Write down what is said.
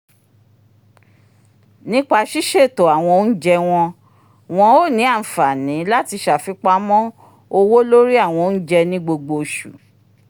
nípasẹ siṣeto awọn oúnjẹ wọn o ni anfani lati ṣafipamọ owó lórí awọn ounjẹ ni gbogbo oṣù